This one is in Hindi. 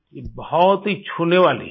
ये बहुत ही छूने वाली है